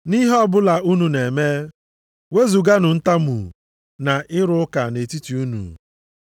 Nʼihe ọbụla unu na-eme, wezuganụ ntamu na ịrụ ụka nʼetiti unu.